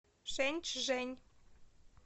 шэньчжэнь